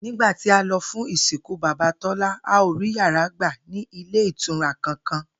Nígbà tí a lo̩ fún ìsìnkú bàbá Tólá, a ò rí yàrá gbà ní ilé ìtura kankan